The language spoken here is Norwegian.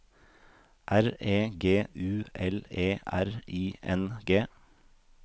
R E G U L E R I N G